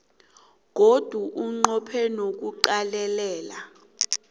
godu unqophe nokuqalelela